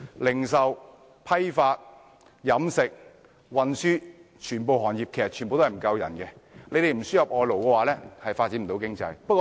零售、批發、飲食、運輸，全部行業都人手短缺，若不輸入外勞，便無法發展經濟。